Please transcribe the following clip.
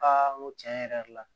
n ko tiɲɛ yɛrɛ la